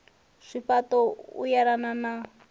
zwifha ṱo u yelana na